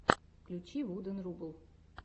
включи вуден рубл